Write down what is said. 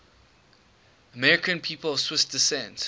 american people of swiss descent